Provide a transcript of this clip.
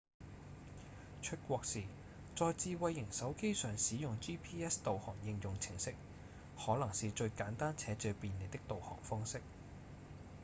出國時在智慧型手機上使用 gps 導航應用程式可能是最簡單且最便利的導航方式